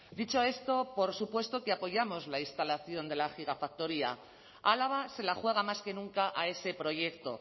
dicho esto por supuesto que apoyamos la instalación de la gigafactoría álava se la juega más que nunca a ese proyecto